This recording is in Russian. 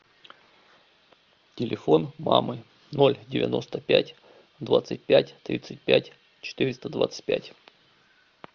телефон мамы ноль девяносто пять двадцать пять тридцать пять четыреста двадцать пять